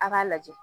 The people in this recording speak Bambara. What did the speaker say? A k'a lajɛ